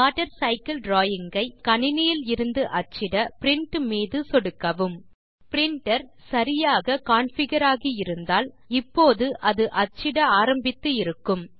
water cycle drawing ஐ உங்கள் கணினியிலிருந்து அச்சிட பிரின்ட் மீது சொடுக்கவும் பிரின்டர் சரியாக கான்ஃபிகர் ஆகி இருந்தால் இப்போது அது அச்சிட ஆரம்பித்து இருக்கும்